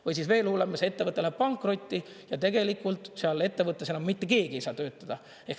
Või veel hullem, ettevõte läheb pankrotti ja tegelikult seal ettevõttes enam mitte keegi ei saa töötada.